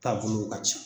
Taabolow ka ca